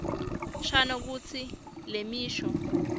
shano kutsi lemisho